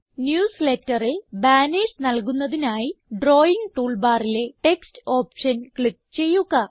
newsletterൽ banners നൽകുന്നതിനായി drawing tool ബാറിലെ text option click ചെയ്യുക